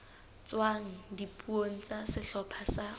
tswang dipuong tsa sehlopha sa